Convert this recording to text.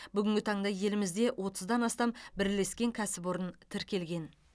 бүгінгі таңда елімізде отыздан астам бірлескен кәсіпорын тіркелген